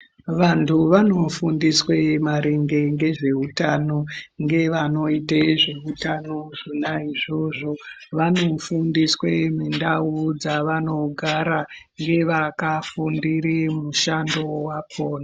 Vantu vanofundiswe maringe ngezveutano ngevanoite zveutano ngevanoite zveutano zvona izvozvo. Vanofundiswe mundau dzavanogara ngevakagundire mushando wakhona.